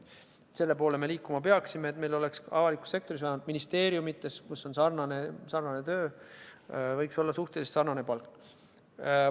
Selle poole me peaksimegi liikuma, et meil oleks avalikus sektoris, vähemalt ministeeriumides, kus on sarnane töö, suhteliselt sarnane palk.